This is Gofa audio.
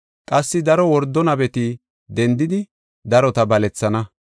Qassi daro wordo nabeti dendidi darota balethana.